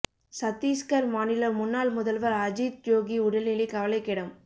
சத்தீஸ்கர் மாநில முன்னாள் முதல்வர் அஜித் ஜோகி உடல் நிலை கவலைக்கிடம்